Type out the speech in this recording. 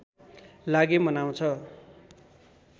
लागि मनाउँछ